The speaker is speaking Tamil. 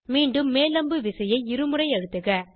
மீண்டும் மேல் அம்பு விசையை இருமுறை அழுத்துக